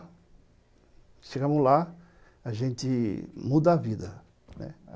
Chegamos lá, a gente muda a vida, né.